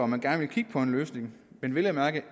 man gerne vil kigge på en løsning men vel at mærke